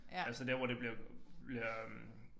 Altså dér hvor det bliver bliver øh